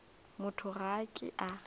motho ga a ke a